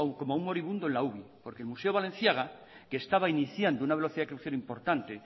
moribundo en la uvi porque el museo balenciaga que estaba iniciando una velocidad crucero importante